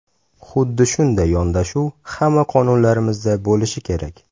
Xuddi shunday yondashuv hamma qonunlarimizda bo‘lishi kerak.